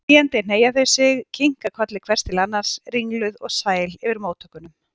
Hlæjandi hneigja þau sig, kinka kolli hvert til annars, ringluð og sæl yfir móttökunum.